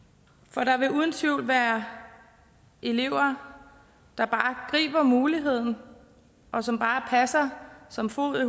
for der vil uden tvivl være elever der bare griber muligheden og som bare passer som fod i